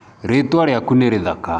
Rĩtwa rĩaku nĩ rĩthaka.